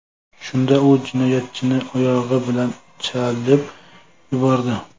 Shunda u jinoyatchini oyog‘i bilan chalib yubordi.